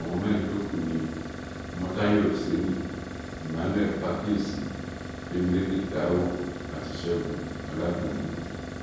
àwọn mẹ́rin tó kù ni ọmọ́táyọ òsénì emmanuel fákíyèsí gbémilékè táíwò àti ṣẹ́gun ọládùnní